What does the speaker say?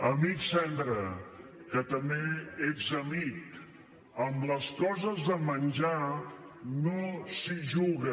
amic sendra que també ets amic amb les coses de menjar no s’hi juga